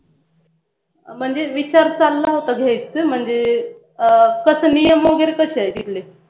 म्हणजे विचार चाल्ला होता घ्यायच म्हणजे अह कस नियम वगैरे कसे आहेत?